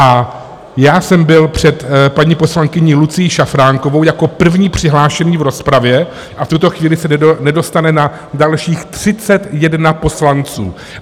A já jsem byl před paní poslankyní Lucií Šafránkovou jako první přihlášený v rozpravě a v tuto chvíli se nedostane na dalších 31 poslanců.